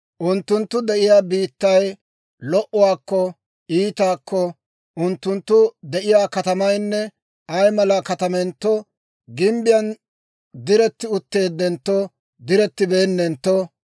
unttunttu de'iyaa biittay lo"enttonne iitentto, unttunttu de'iyaa katamaynne ay mala katamentto, gimbbiyaan diretti utteeddenttonne direttibeennentto,